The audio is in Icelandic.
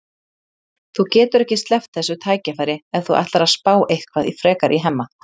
Þú getur ekki sleppt þessu tækifæri ef þú ætlar að spá eitthvað frekar í Hemma.